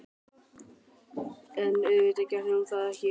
En auðvitað gerði hún það ekki.